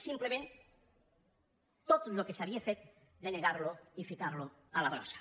simplement tot el que s’havia fet denegar ho i ficar ho a la brossa